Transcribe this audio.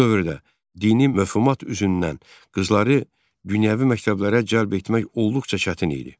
Bu dövrdə dini məfhumat üzündən qızları dünyəvi məktəblərə cəlb etmək olduqca çətin idi.